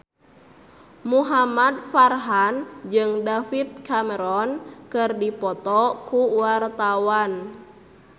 Muhamad Farhan jeung David Cameron keur dipoto ku wartawan